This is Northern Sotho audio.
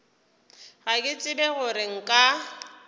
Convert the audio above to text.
ga ke tsebe gore nka